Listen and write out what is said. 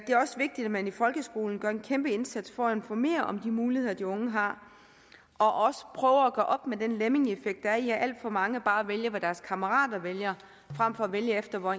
er også vigtigt at man i folkeskolen gør en kæmpe indsats for at informere om de muligheder de unge har og også prøver at gøre op med den lemmingeeffekt der er i at alt for mange bare vælger hvad deres kammerater vælger frem for at vælge efter hvor